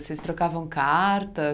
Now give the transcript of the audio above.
Vocês trocavam carta?